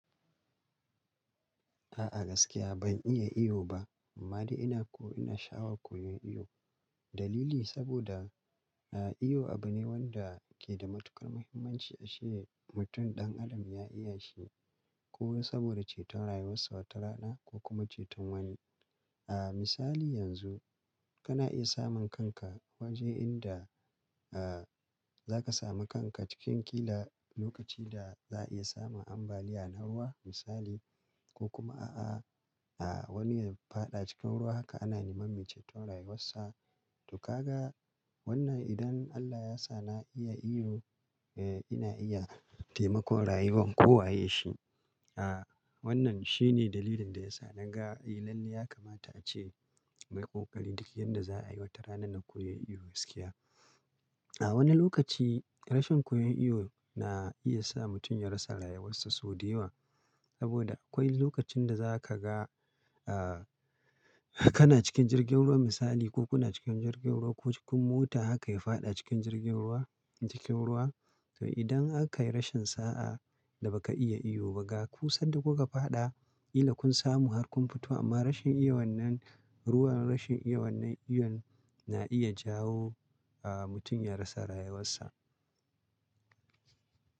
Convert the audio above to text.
A'a gaskiya ban iya iyo ba. Amma dai ina ko ina sha'awar koyon iyo. Dalili saboda, ah iyo abu ne wanda ke da matuƙar muhimmanci ashe mutum ɗan adam ya iya shi. Ko saboda ceton rayuwarsa wata rana ko kuma ceton wani. A misali yanzu kana iya samun kanka waje inda, a za ka sami kanka cikin ƙila lokaci da za a iya samun ambaliya na ruwa misali ko kuma a'a ah wani ya faɗa cikin ruwa haka ana neman me ceton rayuwarsa. To ka ga wannan idan Allah ya sa na iya iyo, eh ina iya taimakon rayuwan kowa yeshi. A wannan shine dalilin da ya sa na ga eh lallai ya kamata a ce mayi ƙoƙari duk yanda za a yi wata rana na koyon iyo gaskiya. A wani lokaci rashin koyon iyo na iya sa mutum ya rasa rayuwarsa so de yawa. Saboda akwai lokacin da za ka ga a kana cikin jirgin ruwa misali ko kuna cikin jirgin ruwa ko cikin mota haka ya faɗa cikin jirgin ruwa cikin ruwa. To idan aka yi rashin sa'a da ba ka iya iyo ba ga ku sanda kuka faɗa, ƙila kun samu har kun fito amma rashin iya wannan ruwan rashin iya wannan iyo na iya jawo a mutum ya rasa rayuwarsa.